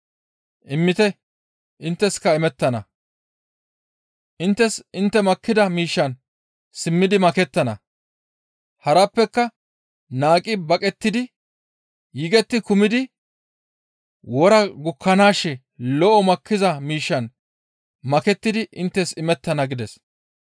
Immite! Intteska imettana; inttes intte makkida miishshan simmidi makettana; harappeka naaqqi baqettidi yigetti kumidi wora gukkanaashe lo7o makkiza miishshan makettidi inttes imettana» gides.